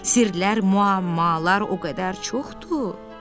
Sirlər, müəmmalar o qədər çoxdur.